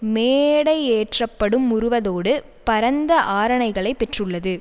மேடையேற்றப்படும் உருவதோடு பரந்த ஆரணைகளை பெற்றுள்ளது